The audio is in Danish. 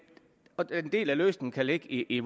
del af løsningen kan ligge i